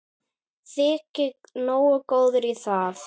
Þyki nógu góður í það.